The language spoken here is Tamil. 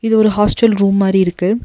இது ஒரு ஹாஸ்டல் ரூம் மாரி இருக்கு.